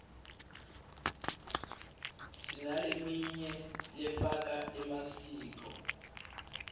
sinaleminy lefaka emasiko